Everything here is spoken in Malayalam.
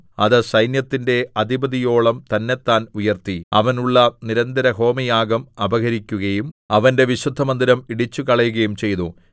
അത് സൈന്യത്തിന്റെ അധിപതിയോളം തന്നെത്താൻ ഉയർത്തി അവനുള്ള നിരന്തരഹോമയാഗം അപഹരിക്കുകയും അവന്റെ വിശുദ്ധമന്ദിരം ഇടിച്ചുകളയുകയും ചെയ്തു